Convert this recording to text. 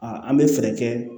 an bɛ fɛɛrɛ kɛ